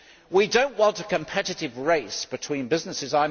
We do not want a competitive race between businesses.